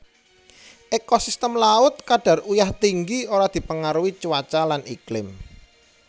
Ekosistem laut kadar uyah tinggi ora dipengaruhi cuaca lan iklim